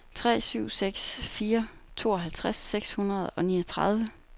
tre syv seks fire tooghalvtreds seks hundrede og niogtredive